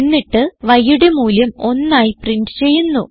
എന്നിട്ട് yയുടെ മൂല്യം 1 ആയി പ്രിന്റ് ചെയ്യുന്നു